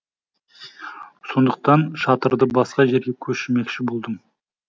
сондықтан шатырды басқа жерге көшірмекші болдым